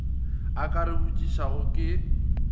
a ka re botšišago ke